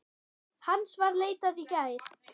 Hans var leitað í gær.